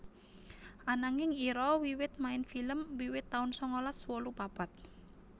Ananging Ira wiwit main film wiwit taun sangalas wolu papat